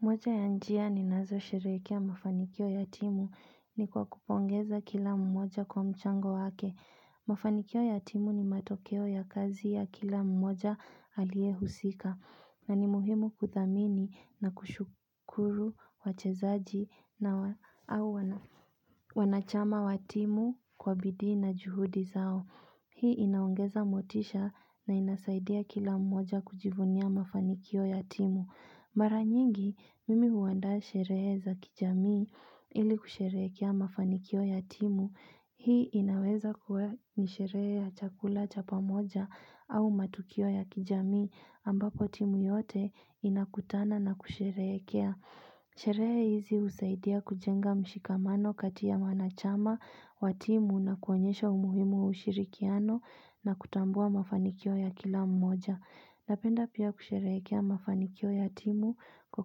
Moja ya njia ninazo sherehekea mafanikio ya timu ni kwa kupongeza kila mmoja kwa mchango wake. Mafanikio ya timu ni matokeo ya kazi ya kila mmoja aliehusika. Na ni muhimu kuthamini na kushukuru wachezaji na au wanachama wa timu kwa bidii na juhudi zao. Hii inaongeza motisha na inasaidia kila mmoja kujivunia mafanikio ya timu. Mara nyingi, mimi huandaa sherehe za kijamii ili kusherehekea mafanikio ya timu. Hii inaweza kwa ni sherehe ya chakula chapa moja au matukio ya kijamii ambako timu yote inakutana na kusherehekea. Sherehe hizi husaidia kujenga mshikamano kati ya wanachama wa timu na kuonyesha umuhimu wa ushirikiano na kutambua mafanikio ya kila mmoja Napenda pia kusherehekea mafanikio ya timu kwa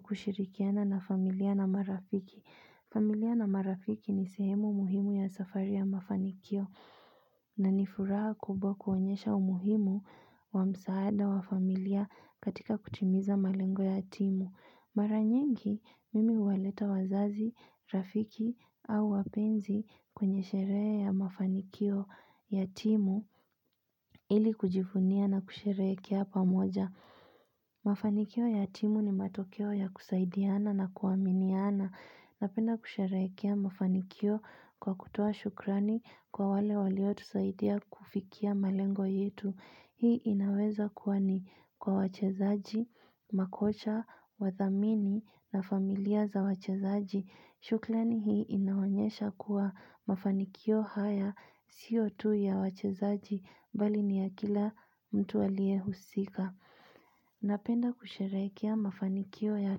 kushirikiana na familia na marafiki familia na marafiki ni sehemu muhimu ya safari ya mafanikio na ni furaha kubwa kuonyesha umuhimu wa msaada wa familia katika kutimiza malengo ya timu Mara nyingi mimi huwaleta wazazi, rafiki au wapenzi kwenye sherehe ya mafanikio ya timu ili kujivunia na kusherehekea pamoja. Mafanikio ya timu ni matokeo ya kusaidiana na kuaminiana. Napenda kusherehekea mafanikio kwa kutoa shukrani kwa wale walio tusaidia kufikia malengo yetu. Hii inaweza kuwa ni kwa wachezaji, makocha, wathamini na familia za wachezaji. Shukrani hii inaonyesha kuwa mafanikio haya sio tu ya wachezaji bali ni ya kila mtu aliyehusika. Napenda kusherehekea mafanikio ya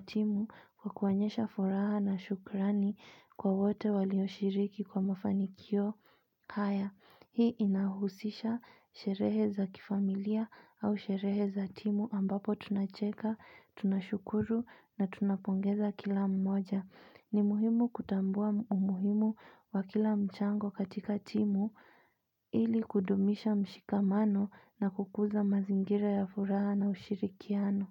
timu kwa kuonyesha furaha na shukrani kwa wote walioshiriki kwa mafanikio haya. Hii inahusisha sherehe za kifamilia au sherehe za timu ambapo tunacheka, tunashukuru na tunapongeza kila mmoja. Ni muhimu kutambua umuhimu wa kila mchango katika timu ili kudumisha mshikamano na kukuza mazingira ya furaha na ushirikiano.